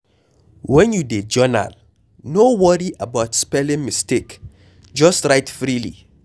when you dey journal, no worry about spelling mistake, just write freely